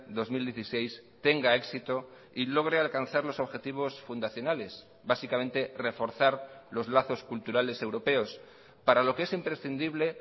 dos mil dieciséis tenga éxito y logre alcanzar los objetivos fundacionales básicamente reforzar los lazos culturales europeos para lo que es imprescindible